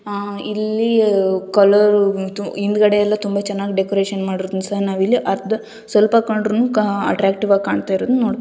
ಇಲ್ಲಿ ಕಲರ್ ಹಿಂದಗಡೆ ಎಲ್ಲಾ ತುಂಬಾ ಚೆನ್ನಾಗಿ ಡೆಕೋರೇಷನ್ ಮಾಡಿರೋದನ್ನ ಸಹ ನಾವು ಇಲ್ಲಿ ಸ್ವಲ್ಪ ಕಂಡ್ರುನು ಅಟ್ರಾಕ್ಟಿವ್ ಆಗಿ ಕಾಂತಿರೋದನ್ನ ನೋಡಬಹುದು .